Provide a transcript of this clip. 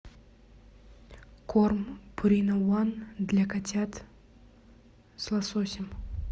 корм пурина ван для котят с лососем